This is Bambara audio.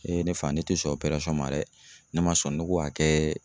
ne fa ne tɛ sɔn ma dɛ ne ma sɔn, ne ko k'a kɛ